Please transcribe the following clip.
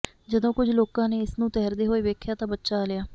ਜਦੋਂ ਕੁੱਝ ਲੋਕਾਂ ਨੇ ਇਸਨੂੰ ਤੈਰਦੇ ਹੋਏ ਵੇਖਿਆ ਤਾਂ ਬਚਾ ਲਿਆ